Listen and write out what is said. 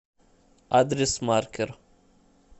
адрес маркер